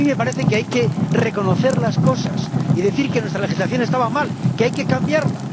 A mí me parece que hay que reconocer las cosas y decir que nuestra legislación estaba mal, que hay que cambiarla